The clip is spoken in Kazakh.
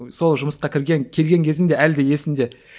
сол жұмысқа кірген келген кезім де әлі де есімде